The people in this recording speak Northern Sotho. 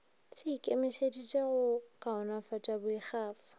se ikemišeditše go kaonafatša boikgafo